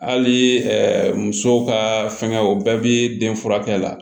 Hali musow ka fɛngɛw o bɛɛ bi den furakɛ la